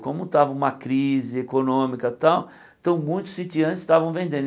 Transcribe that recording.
Como estava uma crise econômica tal, então muitos sitiantes estavam vendendo.